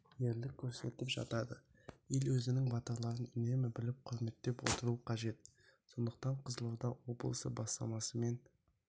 ерлік көрсетіп жатады ел өзінің батырларын үнемі біліп құрметтеп отыруы қажет сондықтан қызылорда облысы бастамасымен